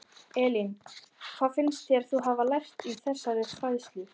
Elín: Hvað finnst þér þú hafa lært í þeirri fræðslu?